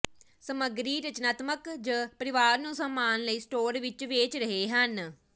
ਸਮੱਗਰੀ ਰਚਨਾਤਮਕਤਾ ਜ ਪਰਿਵਾਰ ਨੂੰ ਸਾਮਾਨ ਲਈ ਸਟੋਰ ਵਿੱਚ ਵੇਚ ਰਹੇ ਹਨ